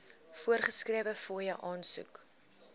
voorgeskrewe fooie aansoek